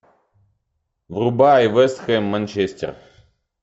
врубай вест хэм манчестер